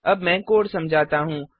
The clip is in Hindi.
अब मैं कोड समझाता हूँ